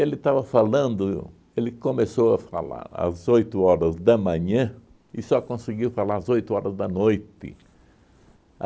Ele estava falando, ele começou a falar às oito horas da manhã e só conseguiu falar às oito horas da noite.